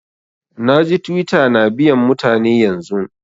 Na ji Twitter na biyan mutane yanzun.